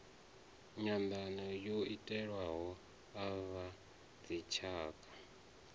nyanḓano yo itiwaho a vhadzitshaka